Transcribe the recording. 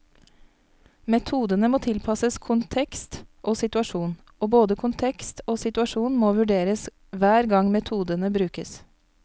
Metodene må tilpasses kontekst og situasjon, og både kontekst og situasjon må vurderes hver gang metodene brukes.